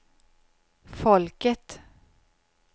folket